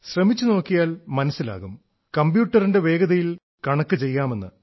ശ്രമിച്ചുനോക്കിയാൽ മനസ്സിലാകും കമ്പ്യൂട്ടറിന്റെ വേഗതയിൽ കണക്കു ചെയ്യാമെന്ന്